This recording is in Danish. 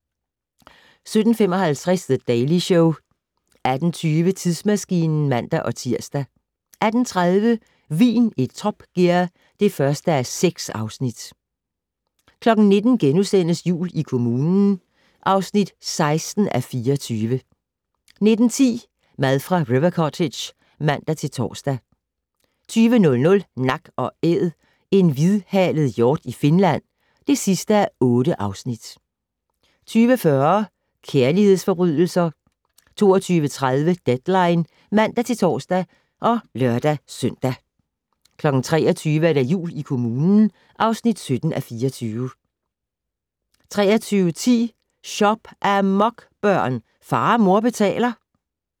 17:55: The Daily Show 18:20: Tidsmaskinen (man-tir) 18:30: Vin i Top Gear (1:6) 19:00: Jul i kommunen (16:24)* 19:10: Mad fra River Cottage (man-tor) 20:00: Nak & Æd - en hvidhalet hjort i Finland (8:8) 20:40: Kærlighedsforbrydelser 22:30: Deadline (man-tor og lør-søn) 23:00: Jul i kommunen (17:24) 23:10: Shop-amok, børn! Far og mor betaler